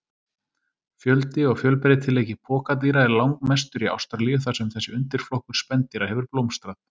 Fjöldi og fjölbreytileiki pokadýra er langmestur í Ástralíu þar sem þessi undirflokkur spendýra hefur blómstrað.